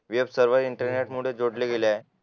web सगळे इंटरनेटमुळे जोडले गेले आहे